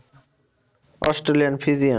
Holstein Friesian?